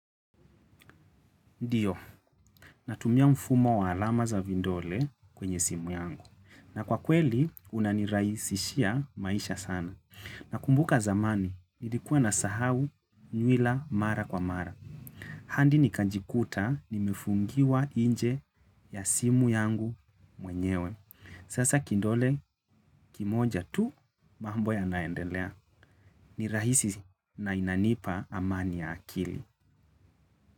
Ndiyo, natumia mfumo wa alama za vindole kwenye simu yangu. Na kwa kweli, unaniraisishia maisha sana. Na kumbuka zamani, nilikuwa na sahau nyuila mara kwa mara. Handi nikanjikuta, nimefungiwa inje ya simu yangu mwenyewe. Sasa kindole, kimoja tu, mambo ya naendelea. Nirahisi na inanipa amani ya akili.